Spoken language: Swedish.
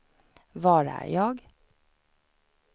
var är jag